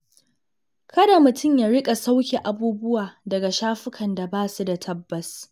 Kada mutum ya riƙa sauƙe abubuwa daga shafukan da ba su da tabbas.